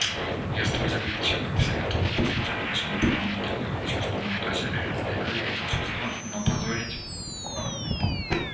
я столь же горячо как все готова послужить нашему правому делу я хочу что мои дочери разделяли эти чувства но позорить